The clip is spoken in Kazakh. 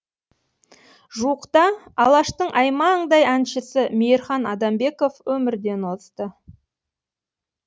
жуықта алаштың аймаңдай әншісі мейірхан адамбеков өмірден озды